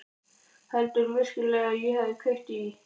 Heldurðu virkilega að ég hafi kveikt í?